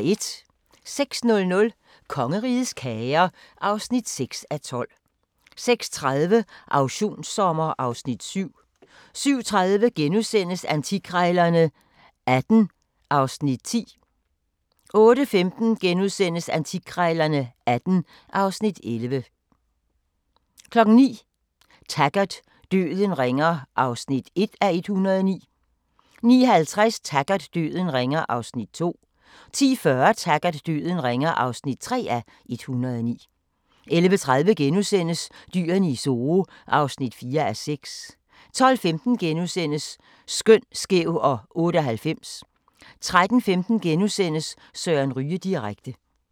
06:00: Kongerigets kager (6:12) 06:30: Auktionssommer (Afs. 7) 07:30: Antikkrejlerne XVIII (Afs. 10)* 08:15: Antikkrejlerne XVIII (Afs. 11)* 09:00: Taggart: Døden ringer (1:109) 09:50: Taggart: Døden ringer (2:109) 10:40: Taggart: Døden ringer (3:109) 11:30: Dyrene i Zoo (4:6)* 12:15: Skøn, skæv og 98 * 13:15: Søren Ryge direkte *